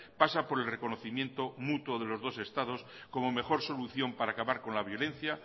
pasa por el reconocimiento mutuo de los dos estados como mejor solución para acabar con la violencia